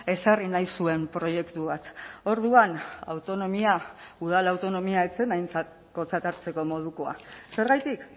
ezarri nahi zuen proiektu bat orduan autonomia udal autonomia ez zen aintzakotzat hartzeko modukoa zergatik